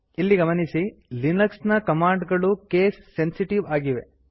ಇಲ್ಲಿ ಗಮನಿಸಿ ಲಿನಕ್ಸ್ ನ ಕಮಾಂಡ್ ಗಳು ಕೇಸ್ ಸೆನ್ಸಿಟಿವ್ ಆಗಿವೆ